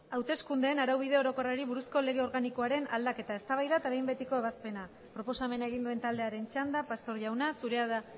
hauteskundeen araubide orokorrari buruzko lege organikiaren aldaketa eztabaida eta behin betiko ebazpena isiltasuna mesedez gainerakoak ere proposamena egin duen taldearen txanda pastor jauna zurea da